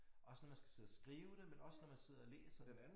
Også når man skal sidde og skrive dem men også når man sidder og læser